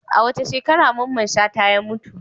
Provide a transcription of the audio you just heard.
A wace shekara Mamman Shata ya mutu?